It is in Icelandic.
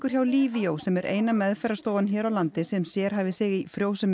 hjá Livio sem er eina hér á landi sem sérhæfir sig í